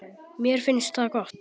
Mér finnst það gott.